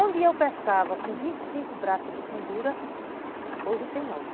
Onde eu pescava com vinte e cinco braças de fundura, hoje tem nove.